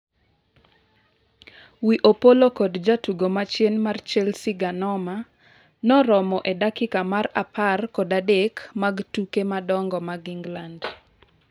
wi Opollo kod jatugo machien mar Chelsea Ganoma noromo e dakika mar apar kod adek mag tuke madongo mag England